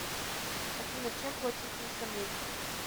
афина чем платить на самете